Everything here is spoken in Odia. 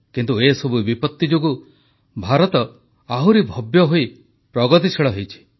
କିନ୍ତୁ ଏସବୁ ବିପତ୍ତି ଯୋଗୁଁ ଭାରତ ଆହୁରି ଭବ୍ୟ ହୋଇ ପ୍ରଗତିଶୀଳ ହୋଇଛି